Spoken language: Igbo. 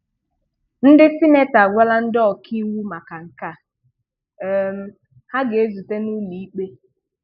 Ndị Sịnetọ agwala ndị ọkaiwu maka nke a, um ha ga-ezute n'ụlọikpe.